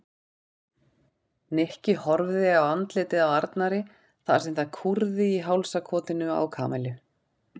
Nikki horfði á andlitið á Arnari þar sem það kúrði í hálsakotinu á Kamillu.